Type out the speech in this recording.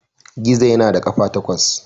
Gizo yana da ƙafa takwas.